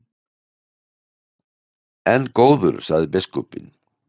En góður, sagði biskupinn.